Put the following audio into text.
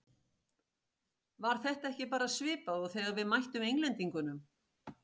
Var þetta ekki bara svipað og þegar við mættum Englendingunum?